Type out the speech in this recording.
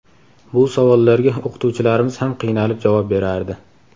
Bu savollarga o‘qituvchilarimiz ham qiynalib javob berardi.